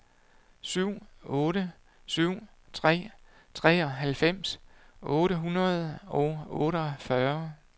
syv otte syv tre treoghalvfems otte hundrede og otteogfyrre